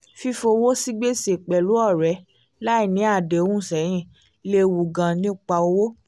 fífọwọ́ sí gbèsè pẹ̀lú ọ̀rẹ́ láì ní àdéhùn sẹ́yìn lewu gan nípa owó